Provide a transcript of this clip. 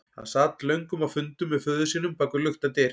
Hann sat löngum á fundum með föður sínum bak við luktar dyr.